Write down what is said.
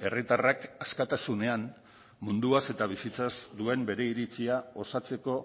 herritarrak askatasunean munduaz eta bizitzaz duen bere iritzia osatzeko